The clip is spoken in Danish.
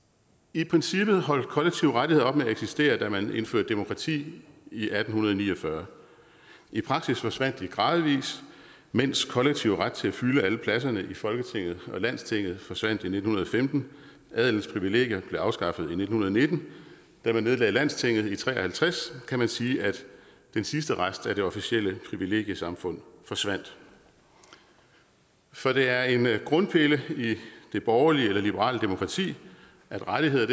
i princippet holdt kollektive rettigheder op med at eksistere da man indførte demokrati i atten ni og fyrre i praksis forsvandt de gradvis mens kollektiv ret til at fylde alle pladserne i folketinget og landstinget forsvandt i nitten femten og adelens privilegier blev afskaffet i nitten nitten da man nedlagde landstinget i nitten tre og halvtreds kan man sige at den sidste rest af det officielle privilegiesamfund forsvandt for det er en grundpille i det borgerlige eller liberale demokrati at rettigheder